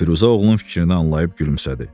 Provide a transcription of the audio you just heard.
Firuzə oğlunun fikrini anlayıb gülümsədi.